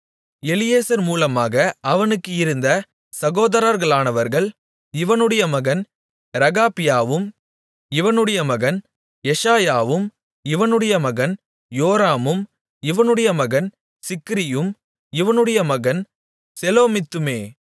எலியேசர் மூலமாக அவனுக்கு இருந்த சகோதரர்களானவர்கள் இவனுடைய மகன் ரெகபியாவும் இவனுடைய மகன் எஷாயாவும் இவனுடைய மகன் யோராமும் இவனுடைய மகன் சிக்ரியும் இவனுடைய மகன் செலோமித்துமே